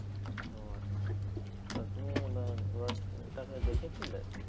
ও আচ্ছা তা তুমি ঘোড়াটাকে দেখেছিলে?